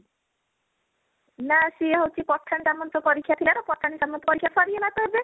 ନାଇଁ ସିଏ ହଉଚି ପଠାଣି ସାମନ୍ତ ପରୀକ୍ଷା ଥିଲା ତ ପଠାଣି ସାମନ୍ତ ପରୀକ୍ଷା ସରିଗଲା ତ ଏବେ